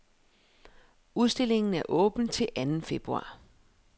Udstillingen er åben til anden februar.